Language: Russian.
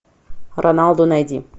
роналду найди